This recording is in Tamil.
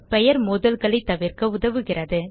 பெயர் மோதல்களை தவிர்க்க உதவுகிறது